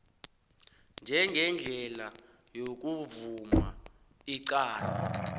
njengendlela yokuvuma icala